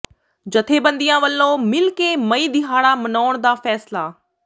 ਜਥੇਬੰਦੀਆਂ ਵਲੋਂ ਮਿਲ ਕੇ ਮਈ ਦਿਹਾੜਾ ਮਨਾਉਣ ਦਾ ਫ਼ੈਸਲਾ